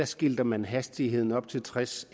skilter man hastigheden op til tres